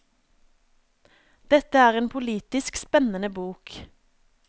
Dette er en politisk spennende bok.